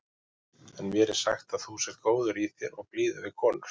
En mér er sagt að þú sért góður í þér og blíður við konur.